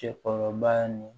Cɛkɔrɔba ni